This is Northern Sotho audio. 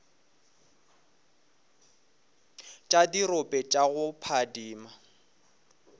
tša dirope tša go phadima